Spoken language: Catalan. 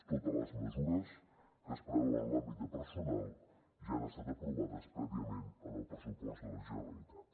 totes les mesures que es preveuen en l’àmbit de personal ja han estat aprovades prèviament en el pressupost de la generalitat